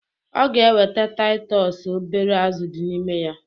Ọ ga eweta Taịtọs obere azụ dị n'ime ya